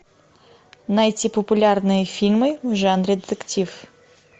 найти популярные фильмы в жанре детектив